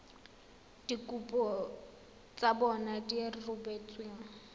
dikopo tsa bona di rebotsweng